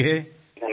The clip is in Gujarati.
ધન્યવાદ સાહેબ